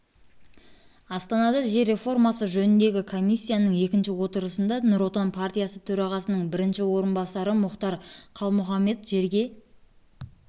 астанада жер реформасы жөніндегі комиссияның екінші отырысында нұр отан партиясы төрағасының бірінші орынбасары мұхтар құл-мұхаммед жерге